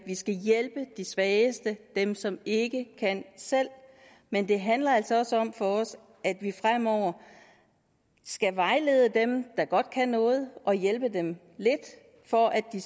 skal hjælpe de svageste dem som ikke kan selv men det handler altså også om for os at vi fremover skal vejlede dem der godt kan noget og hjælpe dem lidt for at de